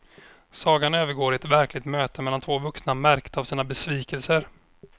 Sagan övergår i ett verkligt möte mellan två vuxna märkta av sina besvikelser.